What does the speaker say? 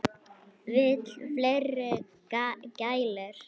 Vill fleiri gælur.